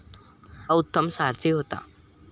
हा उत्तम सारथी होता.